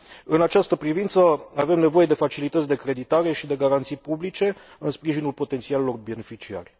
În această privință, avem nevoie de facilități de creditare și de garanții publice în sprijinul potențialilor beneficiari.